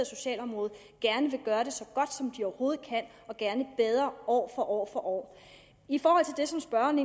socialområde gerne vil gøre det så godt som de overhovedet kan og gerne bedre år for år i forhold til det som spørgeren